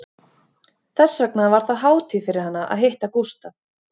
Þess vegna var það hátíð fyrir hana að hitta Gústaf